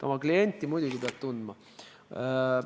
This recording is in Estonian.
Oma klienti pead muidugi tundma.